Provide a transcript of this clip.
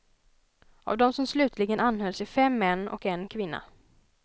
Av dem som slutligen anhölls är fem män och en kvinna.